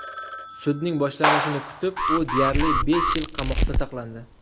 Sudning boshlanishini kutib, u deyarli besh yil qamoqda saqlandi.